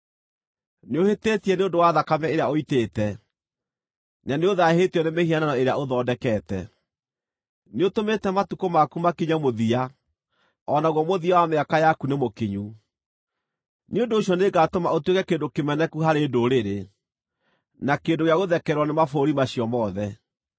nĩũhĩtĩtie nĩ ũndũ wa thakame ĩrĩa ũitĩte, na nĩũthaahĩtio nĩ mĩhianano ĩrĩa ũthondekete. Nĩũtũmĩte matukũ maku makinye mũthia, o naguo mũthia wa mĩaka yaku nĩmũkinyu. Nĩ ũndũ ũcio nĩngatũma ũtuĩke kĩndũ kĩmeneku harĩ ndũrĩrĩ, na kĩndũ gĩa gũthekererwo nĩ mabũrũri macio mothe.